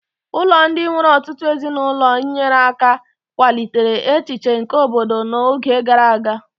Ụlọ ndị nwere ọtụtụ ezinụlọ nyere aka kwalite echiche nke obodo na oge gara aga